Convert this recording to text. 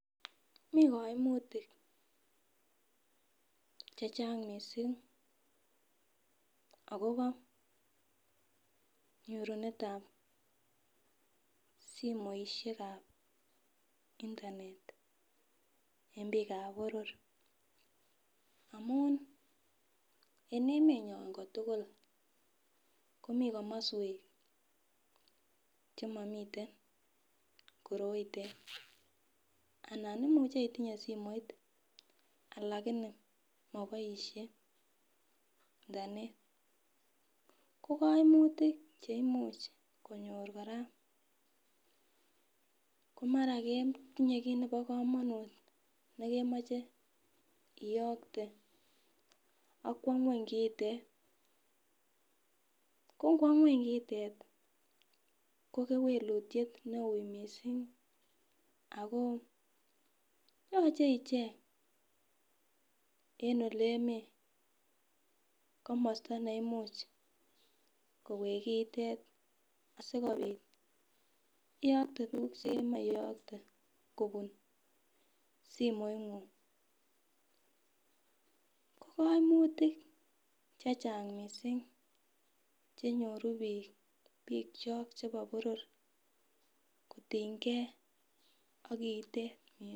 Mii koimutik chechang missing akobo nyorunetab somoishekab internet en bikab boror amun en emenyon kotulil komii komoswek chemomiten koroitet anan imuche itinye simoit lakini moboishe internet ko koimutik cheimuch konyor kora komara ketinye kit nebo komonut nekemoche iyokte ak kwo ngweny kitet, ko know ngweny kitet ko kewekutyet neu missing ako yoche ichenge en olemii komosto neimuch koweki kiitet sikopit iyokte tukuk chemoi iyokte kobun simoingung ko koimutik chechang missing chenyoru bik bikyok chebo boror kotingee ak kitet.